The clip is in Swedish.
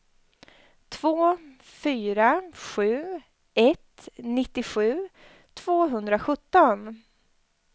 två fyra sju ett nittiosju tvåhundrasjutton